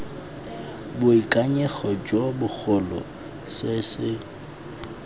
boikanyego jo bogolo se se